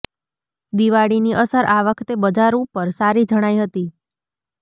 દિવાળીની અસર આ વખતે બજાર ઉપર સારી જણાઈ હતી